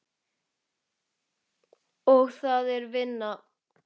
Og það er vinnan.